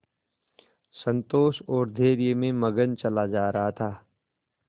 संतोष और धैर्य में मगन चला जा रहा था